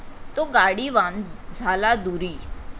तो गाडीवान झाला दूरी ।